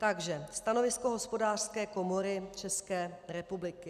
Takže stanovisko Hospodářské komory České republiky.